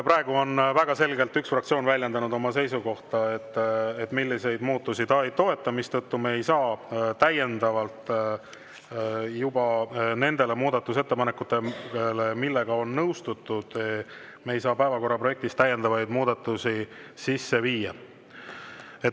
Praegu on väga selgelt üks fraktsioon väljendanud oma seisukohta, milliseid muudatusi ta ei toeta, mistõttu me ei saa lisaks nendele muudatusettepanekutele, millega on nõustutud, päevakorra projektis täiendavaid muudatusi sisse viia.